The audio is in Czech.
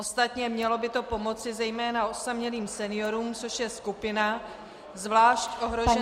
Ostatně mělo by to pomoci zejména osamělým seniorům, což je skupina zvlášť ohrožená -